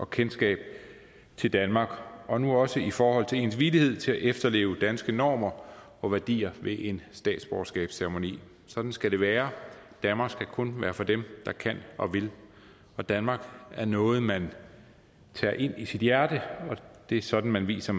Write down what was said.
kendskab til danmark og nu også i forhold til ens villighed til at efterleve danske normer og værdier ved en statsborgerskabsceremoni sådan skal det være danmark skal kun være for dem der kan og vil danmark er noget man tager ind i sit hjerte og det er sådan man viser